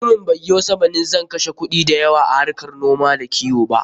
Mutumin bai yo sammanin zan kashe kuɗi da yawa a harkar noma da kiwo ba.